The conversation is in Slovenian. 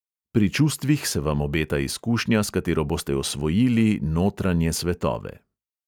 Pri čustvih se vam obeta izkušnja, s katero boste osvojili notranje svetove.